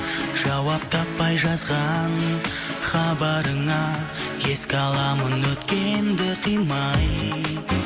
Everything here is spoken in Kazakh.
жауап таппай жазған хабарыңа еске аламын өткенді қимай